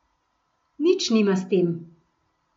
Nič nima s tem.